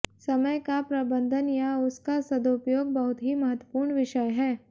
समय का प्रबंधन या उसका सदुपयोग बहुत ही महत्वपूर्ण विषय है